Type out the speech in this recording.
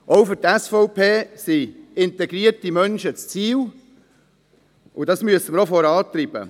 Auch für die SVP sind integrierte Menschen das Ziel, und dies müssen wir vorantreiben.